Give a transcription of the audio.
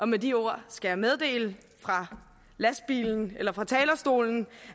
med de ord skal jeg meddele fra lastbilen eller fra talerstolen